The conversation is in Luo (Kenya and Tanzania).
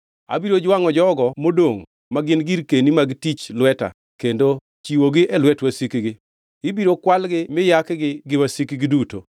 Abiro jwangʼo jogo modongʼ ma gin girkeni mag tich lweta kendo chiwogi e lwet wasikgi. Ibiro kwalgi mi yakgi gi wasikgi duto,